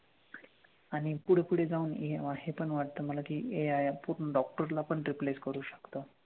आणि पुढे पुढे जाऊन हे हे पण वाटतं मला कि AI पूर्ण doctor ला पण replace करू शकतो.